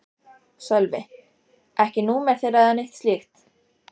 Sölvi: Ekki númer þeirra eða neitt slíkt?